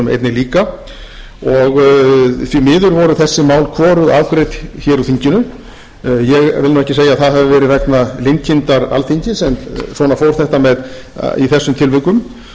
líka og því miður voru þessi mál hvorugt afgreidd hér úr þinginu ég vil nú ekki segja að það hafi verið vegna linkindar alþingis en svona fór þetta í þessum tilvikum þó voru hér engir aukvisar sem voru með mér